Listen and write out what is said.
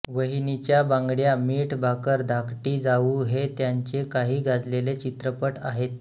वहिनीच्या बांगड्या मीठ भाकर धाकटी जाऊ हे त्यांचे काही गाजलेले चित्रपट आहेत